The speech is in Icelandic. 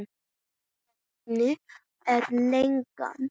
Hvernig er leigan?